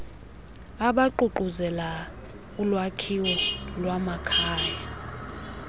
abaququzelela ulwakhiwo lwamakhaya